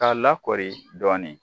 K'a lakori dɔɔnin